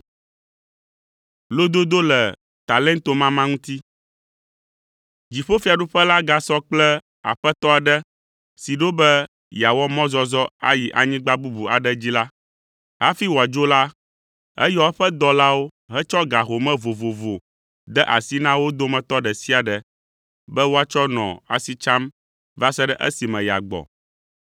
“Dziƒofiaɖuƒe la gasɔ kple Aƒetɔ aɖe si ɖo be yeawɔ mɔzɔzɔ ayi anyigba bubu aɖe dzi la. Hafi wòadzo la, eyɔ eƒe dɔlawo hetsɔ ga home vovovo de asi na wo dometɔ ɖe sia ɖe be wòatsɔ nɔ asi tsam va se ɖe esime yeagbɔ.